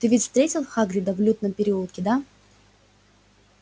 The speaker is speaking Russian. ты ведь встретил хагрида в лютном переулке да